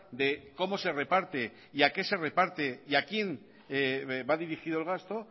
de cómo se reparte y a qué se reparte y a quién va dirigido el gasto